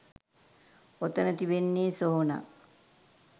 ඔතන තිබෙන්නේ සොහොනක්.